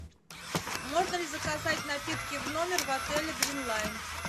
можно ли заказать напитки в номер в отеле грин лайн